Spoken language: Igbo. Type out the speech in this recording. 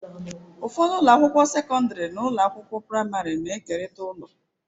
Ụfọdụ ụlọ akwụkwọ sekọndrị na ụlọ akwụkwọ praịmarị na-ekerịta ụlọ.